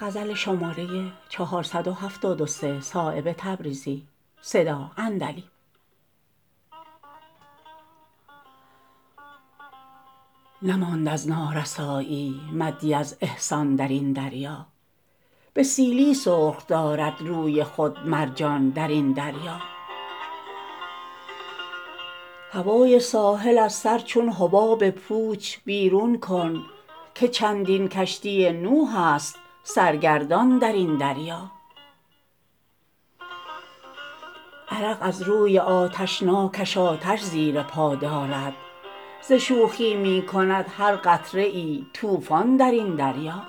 نماند از نارسایی مدی از احسان درین دریا به سیلی سرخ دارد روی خود مرجان درین دریا هوای ساحل از سر چون حباب پوچ بیرون کن که چندین کشتی نوح است سرگردان درین دریا عرق از روی آتشناکش آتش زیر پا دارد ز شوخی می کند هر قطره ای طوفان درین دریا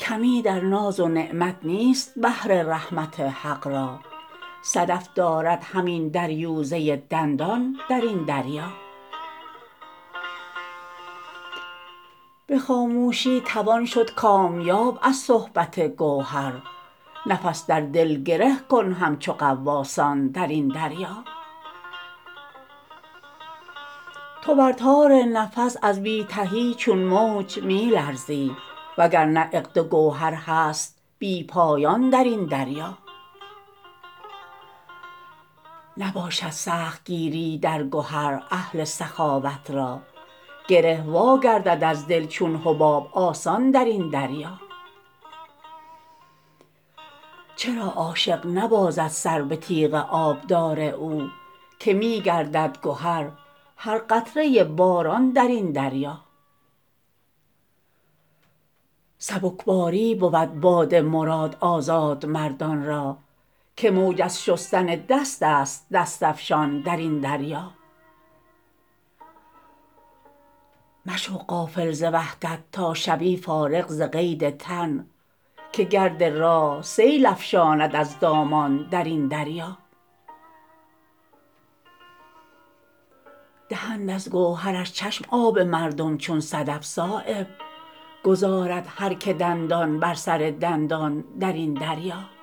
کمی در ناز و نعمت نیست بحر رحمت حق را صدف دارد همین دریوزه دندان درین دریا به خاموشی توان شد کامیاب از صحبت گوهر نفس در دل گره کن همچو غواصان درین دریا تو بر تار نفس از بی تهی چون موج می لرزی وگرنه عقد گوهر هست بی پایان درین دریا نباشد سخت گیری در گهر اهل سخاوت را گره واگردد از دل چون حباب آسان درین دریا چرا عاشق نبازد سر به تیغ آبدار او که می گردد گهر هر قطره باران درین دریا سبکباری بود باد مراد آزادمردان را که موج از شستن دست است دست افشان درین دریا مشو غافل ز وحدت تا شوی فارغ ز قید تن که گرد راه سیل افشاند از دامان درین دریا دهند از گوهرش چشم آب مردم چون صدف صایب گذارد هر که دندان بر سر دندان درین دریا